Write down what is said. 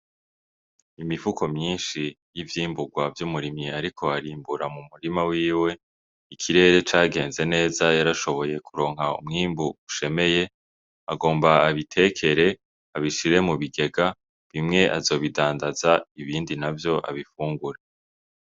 Imifuko myinshi y'ivyimburwa vy'umurimyi ariko arimbura mu murima wiwe , ikirere cagenze neza yarashoboye kuronka umwimbu ushemeye , agomba abitekere abishire mu bigega, bimwe azobidandaza ibindi abifungure.